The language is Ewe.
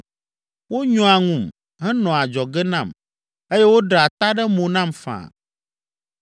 Wonyɔa ŋum, henɔa adzɔge nam eye woɖea ta ɖe mo nam faa.